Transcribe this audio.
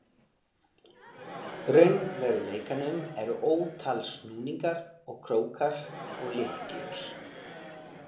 raunveruleikanum eru ótal snúningar og krókar og lykkjur.